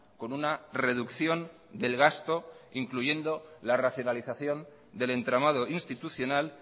con una reducción del gasto incluyendo la racionalización del entramado institucional